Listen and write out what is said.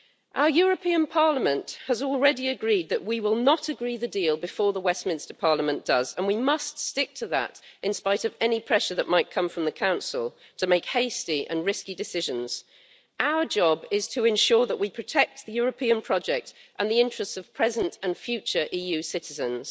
Our European Parliament has already agreed that we will not agree the deal before the Westminster Parliament does, and we must stick to that, in spite of any pressure that might come from the Council to make hasty and risky decisions. Our job is to ensure that we protect the European project and the interests of present and future EU citizens.